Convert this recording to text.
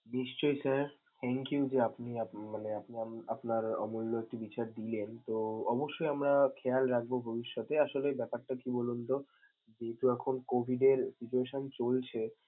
নিশ্চয়ই sir, thank you যে আপনি আপ~ মানে আপনার আপনার অমূল্য দিলেন, তো অবশ্যই আমরা খেয়াল রাখবো ভবিষ্যতে. আসলে ব্যপারটা কি বলুনতো যেহেতু এখন COVID এর situation চলছে।